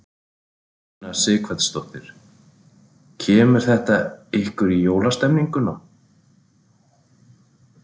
Una Sighvatsdóttir: Kemur þetta ykkur í jólastemninguna?